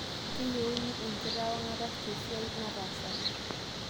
Keyiuni enkitawang'ata tesiai nataasaki